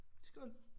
Skål